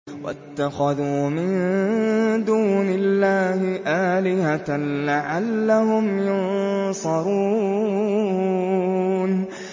وَاتَّخَذُوا مِن دُونِ اللَّهِ آلِهَةً لَّعَلَّهُمْ يُنصَرُونَ